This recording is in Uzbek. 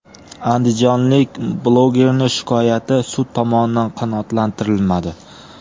Andijonlik blogerning shikoyati sud tomonidan qanoatlantirilmadi.